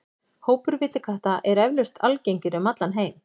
Hópar villikatta eru eflaust algengir um allan heim.